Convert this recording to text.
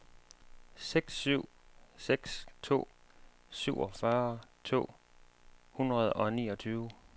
seks syv seks to syvogfyrre to hundrede og niogtyve